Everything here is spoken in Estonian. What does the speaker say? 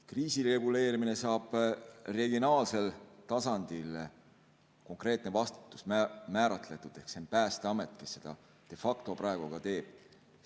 Kriisireguleerimises saab regionaalsel tasandil konkreetne vastutus määratletud ehk see on Päästeamet, kes seda de facto praegu teeb.